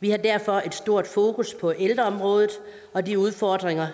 vi har derfor et stort fokus på ældreområdet og de udfordringer